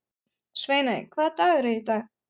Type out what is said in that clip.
Sveiney, hvaða dagur er í dag?